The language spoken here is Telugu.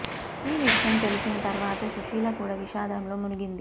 ఈ విషయం తెలిసిన తర్వాత సుశీల కూడ విషాదంలో మునిగింది